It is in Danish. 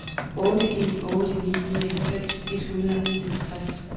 otte en otte ni nioghalvfems et hundrede og enoghalvtreds